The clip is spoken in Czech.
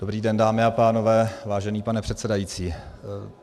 Dobrý den, dámy a pánové, vážený pane předsedající.